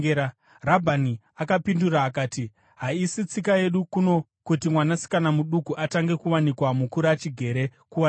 Rabhani akapindura akati, “Haisi tsika yedu kuno kuti mwanasikana muduku atange kuwanikwa mukuru achigere kuwanikwa.